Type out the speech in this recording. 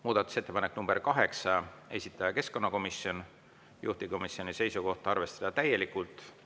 Muudatusettepanek nr 8, esitaja keskkonnakomisjon, juhtivkomisjoni seisukoht on arvestada täielikult.